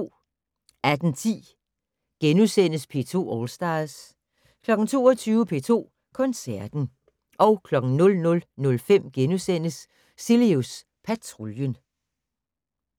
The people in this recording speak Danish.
18:10: P2 All Stars * 22:00: P2 Koncerten 00:05: Cilius Patruljen *